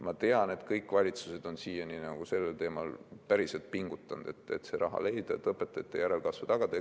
Ma tean, et kõik valitsused on siiani päriselt pingutanud, et seda raha leida, et õpetajate järelkasvu tagada.